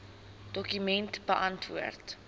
dokument beantwoord